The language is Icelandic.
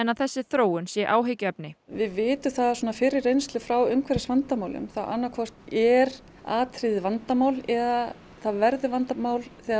að þessi þróun sé áhyggjuefni við vitum það af fyrri reynslu frá umhverfisvandamálum þá annað hvort er atriðið vandamál eða það verður vandamál þegar